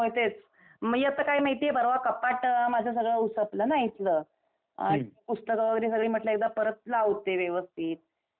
हो तेच, मी आता काय माहितीये, परवा कपाट माझं सगळं उसपलं ना इथलं. अम पुस्तक वगैरे सगळी म्हटलं एकदा परत लावते व्यवस्थित. आणि मग